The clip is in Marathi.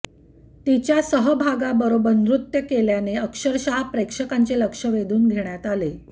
तिच्या सहभागाबरोबर नृत्य केल्याने अक्षरशः प्रेक्षकांचे लक्ष वेधून घेण्यात आले